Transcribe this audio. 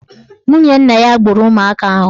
Nwunye nna ya gburu ụmụaka ahụ.